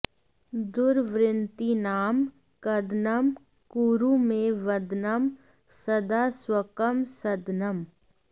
दुर्वृत्तीनां कदनं कुरु मे वदनं सदा स्वकं सदनम्